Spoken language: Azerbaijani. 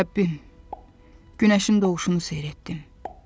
Rəbbim, günəşin doğuşunu seyr etdim.